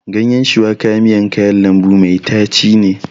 Ganyen shuwaka miyan kayan lambu mai tachi ne.